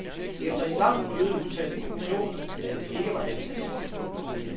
Efter et langt møde udtalte kommissionen, at det ikke var dens ansvar.